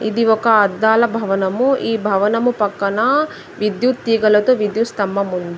ఇది ఒక అద్దాల భవనము. ఈ భవనము పక్కన విద్యుత్ తీగలతో విద్యుత్ స్తంభం ఉంది.